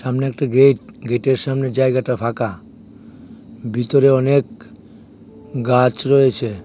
সামনে একটা গেইট গেটের সামনের জায়গাটা ফাঁকা ভিতরে অনেক গাছ রয়েছে।